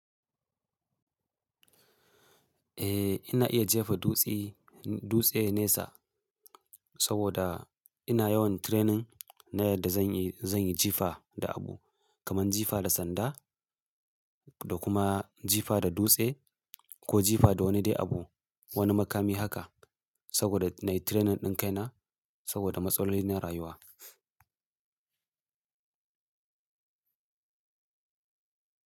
Eh, ina iya jefa dutsi, dutse nesa saboda ina yawan training na yadda zan yi, zan yi jifa da abu kamar jifa da sanda da kuma jifa da dutse ko jifa da wani dai abu, wani makami haka saboda na yi training ɗin kaina saboda matsaloli ina rayuwa.